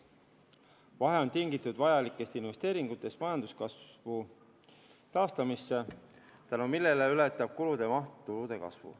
Vahe on tingitud vajalikest investeeringutest majanduskasvu taastamisse, tänu millele ületab kulude maht tulude kasvu.